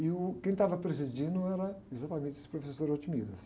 E, uh, quem estava presidindo era exatamente esse professor.